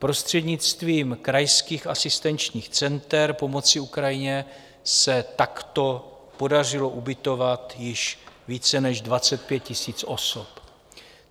Prostřednictvím krajských asistenčních center pomoci Ukrajině se takto podařilo ubytovat již více než 25 000 osob.